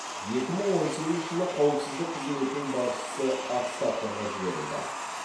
екі мың он сегізінші жылы қауіпсіздік қызметінің басшысы отставкаға жіберілді